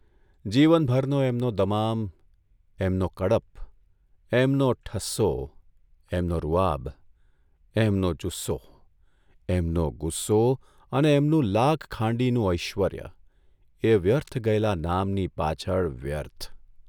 જીવનભરનો એમનો દમામ, એમનો કડપ, એમનો ઠસ્સો, એમનો રૂઆબ, એમનો જુસ્સો, એમનો ગુસ્સો અને એમનું લાખ ખાંડીનું ઐશ્વર્ય એ વ્યર્થ ગયેલા નામની પાછળ વ્યર્થ !